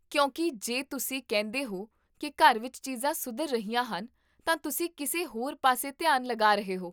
ਕਿਉਂਕਿ, ਜੇ ਤੁਸੀਂ ਕਹਿੰਦੇ ਹੋ ਕੀ ਘਰ ਵਿੱਚ ਚੀਜ਼ਾਂ ਸੁਧਰ ਰਹੀਆਂ ਹਨ, ਤਾਂ ਤੁਸੀਂ ਕਿਸੇ ਹੋਰ ਪਾਸੇ ਧਿਆਨ ਲਗਾ ਰਹੇ ਹੋ